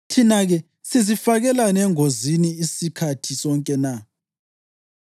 Thina-ke, sizifakelani engozini isikhathi sonke na?